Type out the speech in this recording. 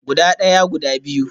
Guda daya, guda biyu